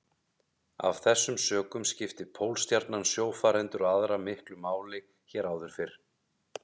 Af þessum sökum skipti Pólstjarnan sjófarendur og aðra miklu máli hér áður fyrr.